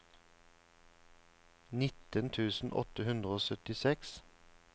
nitten tusen åtte hundre og syttiseks